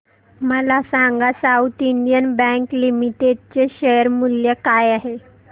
मला सांगा south Indian bank limited चे शेअर मूल्य काय आहे